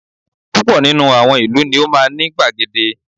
Púpọ̀ nínú àwọn ìlú ni ó máa ní gbàgede